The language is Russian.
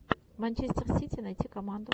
манчестер сити найти команду